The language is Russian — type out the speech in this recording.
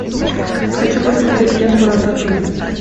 хочу посмотреть ленту рататуй